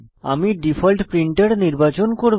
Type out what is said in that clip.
আমি default printer নির্বাচন করব